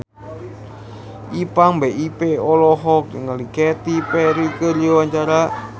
Ipank BIP olohok ningali Katy Perry keur diwawancara